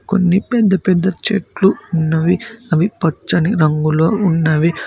కొన్ని పెద్ద పెద్ద చెట్లు ఉన్నవి అవి పచ్చని రంగులో ఉన్నవి.